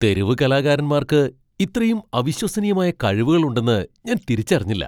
തെരുവ് കലാകാരന്മാർക്ക് ഇത്രയും അവിശ്വസനീയമായ കഴിവുകൾ ഉണ്ടെന്ന് ഞാൻ തിരിച്ചറിഞ്ഞില്ല.